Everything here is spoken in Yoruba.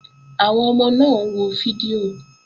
Àwọn ọmọ náà wo fídíò